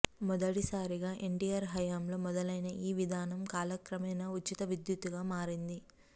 మొదటి సారిగా ఎన్టీఆర్ హయాంలో మొదలైన ఈ విధానం కాల క్రమేణా ఉచిత విద్యుత్తుగా మారింది